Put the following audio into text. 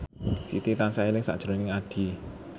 Siti tansah eling sakjroning Addie